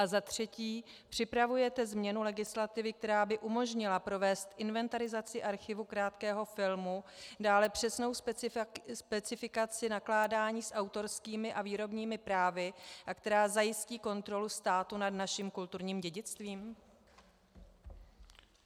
A za třetí: Připravujete změnu legislativy, která by umožnila provést inventarizaci archivu Krátkého filmu, dále přesnou specifikaci nakládání s autorskými a výrobními právy a která zajistí kontrolu státu nad naším kulturním dědictvím?